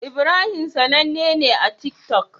Ibrahim sAnanne ne a tik tok